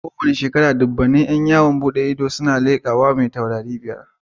Kowace shekara, dubban ƴan yawon bude ido suna yin tururuwa zuwa wurin shakatawa mai taurari biyar.